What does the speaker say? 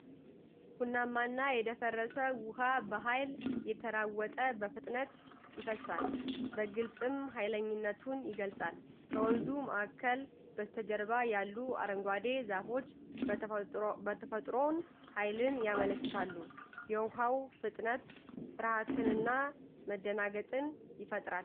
ቡናማና የደፈረሰ ውሃ በኃይል እየተናወጠ በፍጥነት ይፈሳል፤ በግልጽም ሀይለኝነቱን ይገልጻል። ከወንዙ ማዕበል በስተጀርባ ያሉት አረንጓዴ ዛፎች የተፈጥሮን ኃይልን ያመለክታሉ፤ የውሃው ፍጥነት ፍርሃትንና መደናገጥን ይፈጥራል።